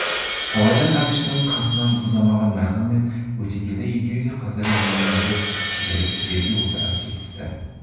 талайдан әбіштің қасынан ұзамаған майқан мен өтегелді екеуі де қазір еңіреп жіберіп жерге отыра кетісті